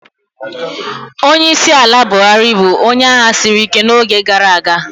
Onyeisiala Buhari bụ onye agha siri ike n'oge gara aga.